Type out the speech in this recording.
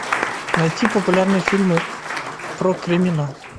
найти популярные фильмы про криминал